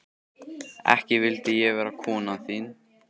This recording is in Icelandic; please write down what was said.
Ekki vildi ég vera konan þín.